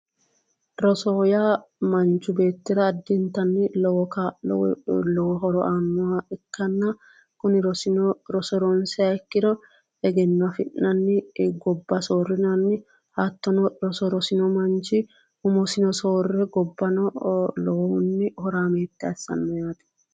Rosoho yaa manchi beettira addintanni lowo kaa'lo horo aanoha ikkanna kuni rosino ronsiha ikkiro egenno afi'nanni gobba soorinanni ,hattono roso rosino manchi umosino soorire gobbasino lowohunni horaamete assano yaate.